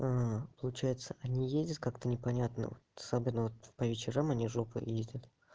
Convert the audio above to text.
получается они ездят как-то непонятно особенно вот по вечерам они жопой ездят